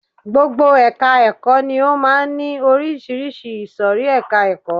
Gbogbo ẹka ẹ̀kọ́ ni ó máà ń ní oríṣiríṣi ìsòrí ẹka ẹ̀kọ́.